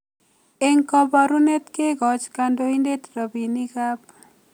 Eng koborunet, kekoch kandoindet robinikab